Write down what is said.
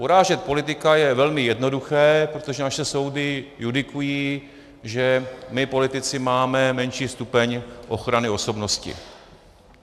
Urážet politika je velmi jednoduché, protože naše soudy judikují, že my politici máme menší stupeň ochrany osobnosti.